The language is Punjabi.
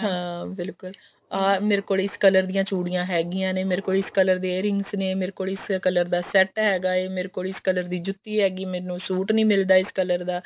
ਹਾਂ ਬਿਲਕੁਲ ਮੇਰੇ ਕੋਲ ਇਸ color ਦੀਆਂ ਚੂੜੀਆਂ ਹੈਗੀਆਂ ਨੇ ਇਸ color ਦੇ earrings ਨੇ ਮੇਰੇ ਕੋਲ ਇਸ color ਦਾ set ਹੈਗਾ ਹੈ ਮੇਰੇ ਕੋਲ ਇਸ color ਦੀ ਜੁੱਤੀ ਹੈਗੀ ਮੈਨੂੰ ਸੂਟ ਨੀ ਮਿਲਦਾ ਇਸ color ਦਾ